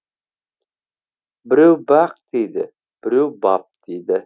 біреу бақ дейді біреу бап дейді